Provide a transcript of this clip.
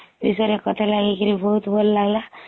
କଥା ଲାଗିକରି ବହୁତ ଭଲ ଲାଗିଲା